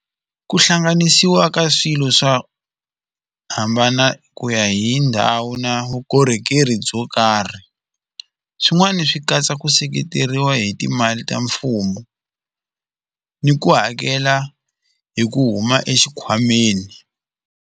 Ku hlanganisiwa ka swilo swo hambana ku ya hi ndhawu na vukorhokeri byo karhi swin'wani swi katsa ku seketeriwa hi timali ta mfumo ni ku hakela hi ku huma exikhwameni.